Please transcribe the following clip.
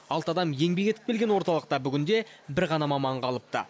алты адам еңбек етіп келген орталықта бүгінде бір ғана маман қалыпты